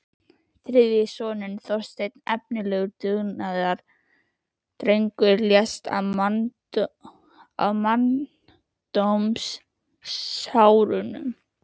Þriðji sonurinn, Þorsteinn, efnilegur dugnaðardrengur, lést á manndómsárunum.